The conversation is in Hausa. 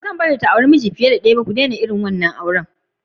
Ba'zan bari ta auri miji fiye da ɗaya ba, ku daina wannan auren!!